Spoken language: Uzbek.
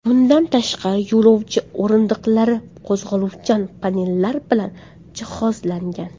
Bundan tashqari, yo‘lovchi o‘rindiqlari qo‘zg‘aluvchan panellar bilan jihozlangan.